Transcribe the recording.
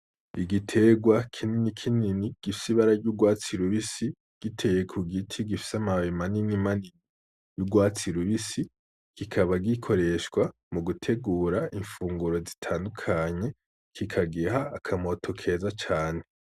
Igiterwa kinini kinini gifise ibara ry’urwatsi rubisi , kikaba giteye ku giti gifise amababi manini manini y’urwatsi rubisi , kikaba gikoreshwa mu gutegura imfunguro zitandukanye, kikagira akamoto keza cane .